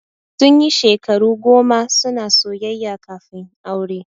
Sun yi shekaru goma suna soyayya kafin aure.